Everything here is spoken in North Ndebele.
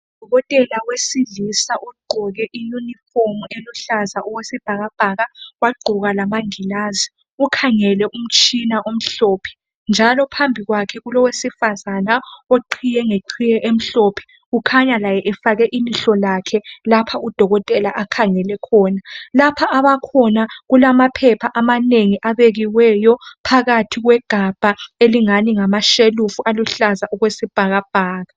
Udokotela wesilisa ugqoke i uniform eluhlaza okwesibhakabhaka wagqoka lamangilazi ukhangele omtshina omhlophe njalo phambi kwakhe kulowesifazane oqhiye ngeqhiye emhlophe ukhanya laye efake ilihlo lakhe lapha udokotela akhangele khona. Lapha abakhona kukhanya kulamaphepha amanengi abekiweyo phakathi kwegabha elingani ngamashelufu aluhlaza okwesibhakabhaka